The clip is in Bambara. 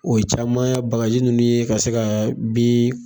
O ye caman ye bagaji ninnu ye ka se ka bin